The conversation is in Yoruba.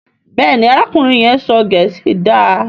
Béèni arákùnrin yén sọ gèésì dá.